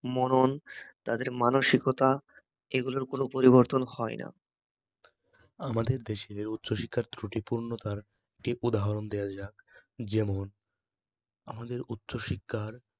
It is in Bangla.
মনন, তাদের মানসিকতা এগুলোর কোনো পরিবর্তন হয় না আমাদের দেশের উচ্চশিক্ষার ত্রুটিপূর্ণতার ঠিক উদাহরণ দেওয়া যাক, যেমন আমাদের উচ্চশিক্ষার